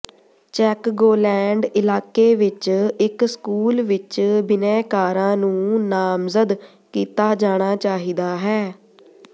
Chicagoland ਇਲਾਕੇ ਵਿਚ ਇਕ ਸਕੂਲ ਵਿਚ ਬਿਨੈਕਾਰਾਂ ਨੂੰ ਨਾਮਜ਼ਦ ਕੀਤਾ ਜਾਣਾ ਚਾਹੀਦਾ ਹੈ